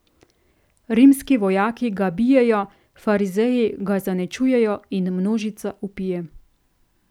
Rimski vojaki ga bijejo, farizeji ga zaničujejo in množica vpije.